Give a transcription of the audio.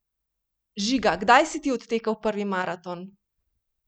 Žiga, kdaj si ti odtekel prvi maraton?